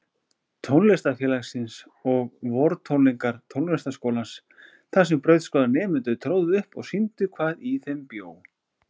Tónlistarfélagsins og vortónleika Tónlistarskólans þarsem brautskráðir nemendur tróðu upp og sýndu hvað í þeim bjó.